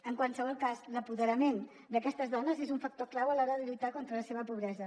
en qualsevol cas l’apoderament d’aquestes dones és un factor clau a l’hora de lluitar contra la seva pobresa